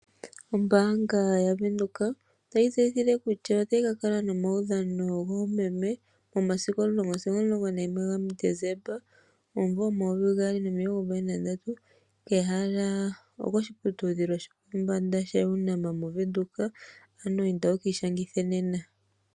Ombaanga ya Windhoek otayi tseyitha kutya otayi kakala nomaudhano goomeme momasiku 10 sigo 11 gaDesemba 2023. Ehala oposhiputudhilo shopombanga sha UNAM moVenduka. Inda wuki ishangithe nena.